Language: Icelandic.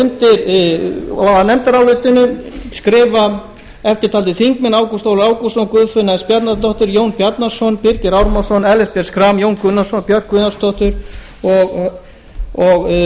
undir nefndarálitið skrifa eftirtaldir þingmenn ágúst ólafur ágústsson guðfinna s bjarnadóttir jón bjarnason birgir ármannsson ellert b schram jón gunnarsson björk guðjónsdóttir og